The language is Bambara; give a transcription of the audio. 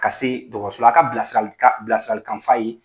Ka se dɔgɔtɔrɔso la a ka bilasiralikanf'a ye.